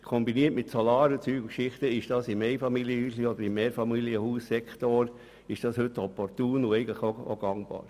Kombiniert mit einer Solaranlage sind diese heute im Einfamilien- oder Mehrfamilienhaussektor opportun und gangbar.